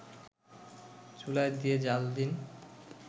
চুলায় দিয়ে জ্বাল দিন